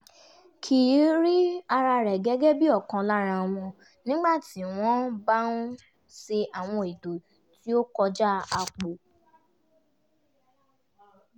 kì í rí ara rẹ̀ gẹ́gẹ́ bí ọ̀kan lára wọn nígbà tí wọ́n bá ṣe àwọn ètò tí ó kọjá àpò